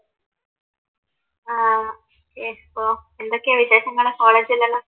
ആഹ് yes ഓഹ് എന്തൊക്കെയാ വിശേഷങ്ങള് കോളേജിലെല്ലാം